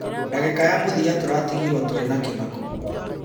Ndagĩka ya mũthia tũratigirwo tũrĩ na kĩmako.